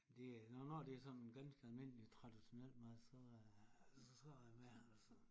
Det er når når det er sådan ganske almindelig traditionel mad så er så er jeg med altså